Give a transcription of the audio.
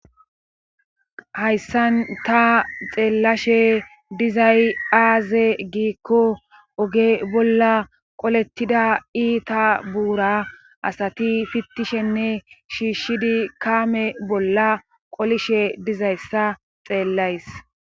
hayssan ta xeellashe dizay aaze giikko oge bolla qolettida iita buura asati fittishenne shiishshidi kaame bolla qolishe dizayssa xeellays